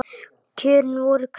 Kjörin voru kröpp.